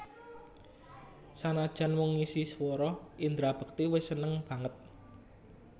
Sanajan mung ngisi swara Indra Bekti wis seneng banget